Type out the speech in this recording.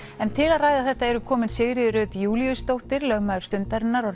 en til að ræða þetta eru komin Sigríður Rut Júlíusdóttir lögmaður Stundarinnar og